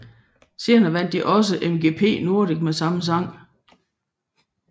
Senere vandt de også MGP Nordic med samme sang